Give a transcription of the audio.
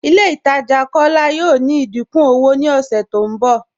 Ilẹ̀ Itaajà Kọla yọọ ní ìdíkún ọwọ̀ ni ọṣẹ tó nbọ.